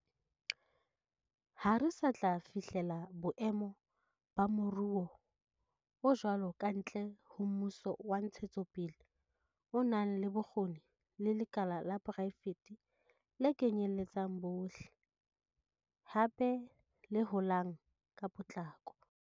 Ha re sa tla fihlela boemo ba moruo o jwalo kantle ho mmuso wa ntshetsopele o nang le bokgoni le lekala la poraefete le kenyeletsang bohle, hape le holang ka potlako.